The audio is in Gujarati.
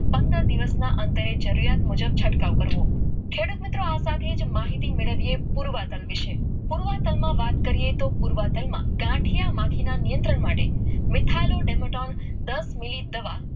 પંદર દિવસના અંતરે જરૂરિયાત મુજબ છંટકાવ કરવો કે રૂપ મિત્રો આ સાથે માહિતી મેળવીએ પુરવાટન વિશે પુરવાટનમાં વાત કરીએ તો પુરવાટનમાં ગાંઠિયામાંથીના માટે મીઠેલા ડર મટે લાઈન દસ મિનિટ દવા